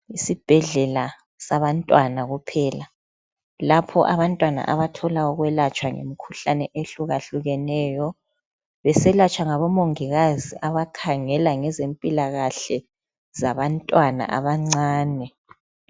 Yisibhedlela sabantwana kuphela. Lapho abantwana abathola ukwelatshwa imikhuhlane ehlukahlukeneyo beselatshwa ngoMongikazi abakhangela ngezempilakahle yabantwana abancane